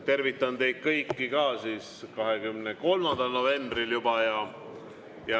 Tervitan teid kõiki ka 23. novembril juba.